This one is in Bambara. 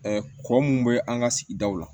kɔ mun bɛ an ka sigidaw la